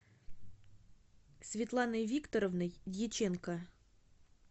светланой викторовной дьяченко